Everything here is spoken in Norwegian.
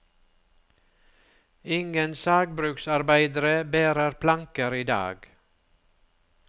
Ingen sagbruksarbeidere bærer planker i dag.